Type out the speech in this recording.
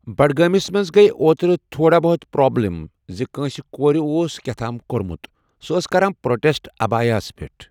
بَڈگٲمِس منٛز گے اوترٕ تھوڑا بہت پرابلِم زِ کٲنٛسہِ کورِ اوس کیٚاہ تام کوٚرمُت۔ سۄ ٲس کران پروٹیٚسٹ عبایَہَس پٮ۪ٹھ۔